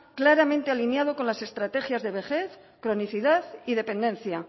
claramente alineado con las estrategias de vejez cronicidad y dependencia